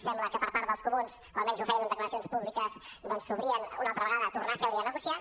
sembla que per part dels comuns o almenys ho feien en declaracions públiques doncs s’obrien una altra vegada a tornar a seure i a negociar